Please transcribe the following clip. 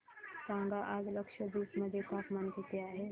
सांगा आज लक्षद्वीप मध्ये तापमान किती आहे